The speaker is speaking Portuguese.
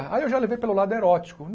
Aí eu já levei pelo lado erótico.